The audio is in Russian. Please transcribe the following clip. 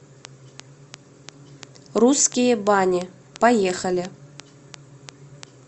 русские бани поехали